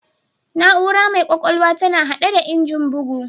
Na'ura mai ƙwƙwalwa tana haɗe da Injin bugu